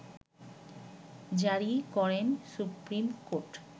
জারি করেন supreme court